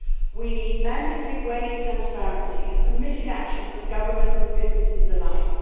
We need mandatory wage transparency and committed action from governments and businesses alike.